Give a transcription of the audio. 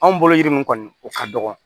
Anw bolo yiri min kɔni o ka dɔgɔ